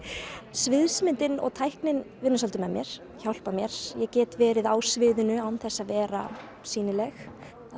sviðsmyndin og tæknin vinna svolítið með mér hjálpa mér ég get verið á sviðinu án þess að vera sýnileg